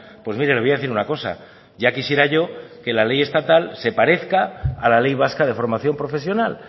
pues mire le voy a decir una cosa ya quisiera yo que la ley estatal se parezca a la ley vasca de formación profesional